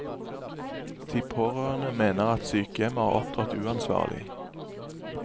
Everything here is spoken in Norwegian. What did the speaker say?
De pårørende mener at sykehjemmet har opptrådt uansvarlig.